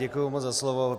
Děkuji moc za slovo.